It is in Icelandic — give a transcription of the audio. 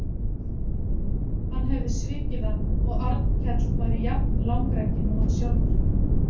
Hann hefði svikið hann og Arnkell væri jafn langrækinn og hann sjálfur.